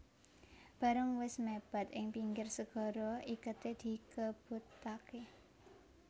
Bareng wis mèpèd ing pinggir segara iketé dikebutaké